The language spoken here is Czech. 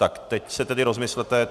Tak teď se tedy rozmyslete.